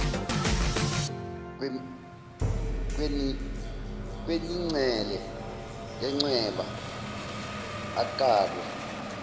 kwenincele yencweba akalwe